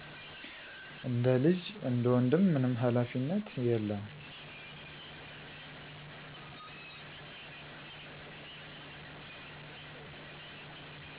እንደ ልጅ፣ እንደ ወንድም። ምንም ሃላፊነት የለም።